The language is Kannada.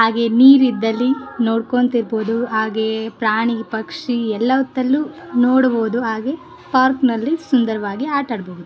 ಹಾಗೆ ನೀರ್ ಇದ್ದಲ್ಲಿ ನೋಡ್ಕೊಬಹುದು ಹಾಗೆ ಪ್ರಾಣಿ ಪಕ್ಷಿ ಎಲ್ಲ ಹೊತ್ತಲ್ಲೂ ನೋಡಬಹದು ಹಾಗೆ ಪಾರ್ಕಿ ನಲ್ಲಿ ಸುಂದರವಾಗಿ ಆಟ ಆಡಬಹುದು .